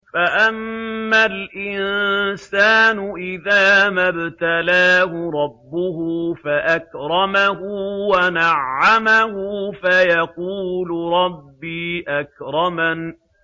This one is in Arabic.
فَأَمَّا الْإِنسَانُ إِذَا مَا ابْتَلَاهُ رَبُّهُ فَأَكْرَمَهُ وَنَعَّمَهُ فَيَقُولُ رَبِّي أَكْرَمَنِ